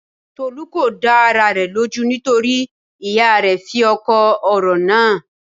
Tolú kò dá ara rẹ̀ lójú nítorí ìyá rẹ̀ fí òkò ọ̀rọ̀ nàn án.